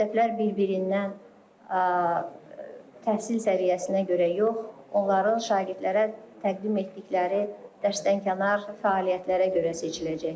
Məktəblər bir-birindən təhsil səviyyəsinə görə yox, onların şagirdlərə təqdim etdikləri dərsdənkənar fəaliyyətlərə görə seçiləcəklər.